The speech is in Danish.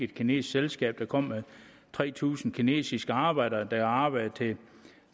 kinesisk selskab kom med tre tusind kinesiske arbejdere der vil arbejde til